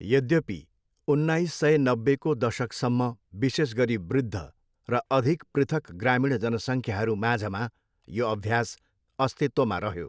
यद्यपि, उन्नाइस सय नब्बेको दशकसम्म विशेष गरी वृद्ध र अधिक पृथक ग्रामीण जनसङ्ख्याहरू माझमा यो अभ्यास अस्तित्वमा रह्यो।